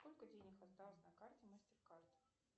сколько денег осталось на карте мастеркард